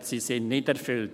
Sie sind nicht erfüllt.